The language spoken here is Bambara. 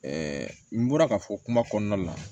n bɔra ka fɔ kuma kɔnɔna la